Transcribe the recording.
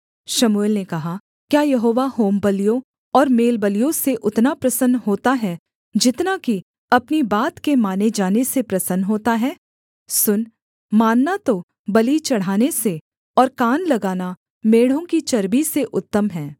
शमूएल ने कहा क्या यहोवा होमबलियों और मेलबलियों से उतना प्रसन्न होता है जितना कि अपनी बात के माने जाने से प्रसन्न होता है सुन मानना तो बलि चढ़ाने से और कान लगाना मेढ़ों की चर्बी से उत्तम है